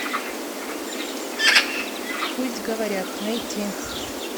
пусть говорят найти